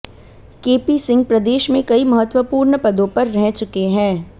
KP Singh प्रदेश में कई महत्वपूर्ण पदों पर रह चुके है